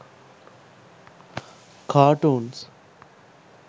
cartoons